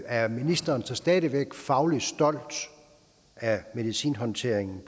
er ministeren så stadig væk fagligt stolt af medicinhåndteringen